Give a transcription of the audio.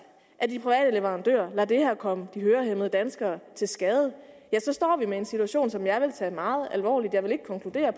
at de private leverandører lader det her komme de danske hørehæmmede til skade så står vi med en situation som jeg vil tage meget alvorligt jeg vil ikke konkludere